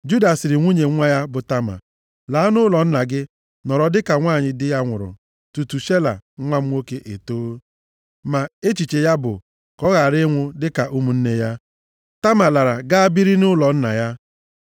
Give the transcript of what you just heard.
Juda sịrị nwunye nwa ya, bụ Tama, “Laa nʼụlọ nna gị nọrọ dịka nwanyị di ya nwụrụ tutu Shela nwa m nwoke etoo.” Ma echiche ya bụ, “ka ọ ghara ịnwụ dịka ụmụnne ya.” Tama lara gaa biri nʼụlọ nna ya.